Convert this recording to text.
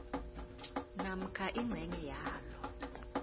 namkha ingcenye yalo